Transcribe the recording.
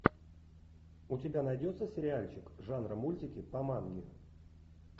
у тебя найдется сериальчик жанра мультики по манге